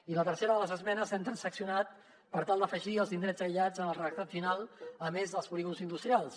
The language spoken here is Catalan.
i la tercera de les esmenes l’hem transaccionat per tal d’afegir als indrets aïllats en el redactat final a més dels polígons industrials